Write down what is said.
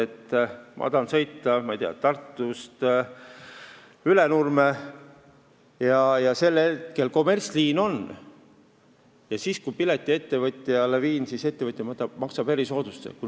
Kui ma tahan sõita, ma ei tea, Tartust Ülenurme ja see on kommertsliin, ning kui ma pileti ettevõtjale viin, siis ettevõtja maksab erisoodustusmaksu.